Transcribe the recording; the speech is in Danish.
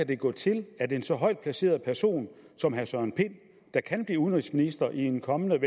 kan gå til at en så højt placeret person som herre søren pind der kan blive udenrigsminister i en kommende